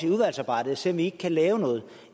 i udvalgsarbejdet at se om vi ikke kan lave noget